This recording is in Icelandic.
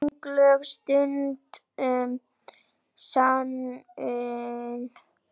Sönglög stundum snúin.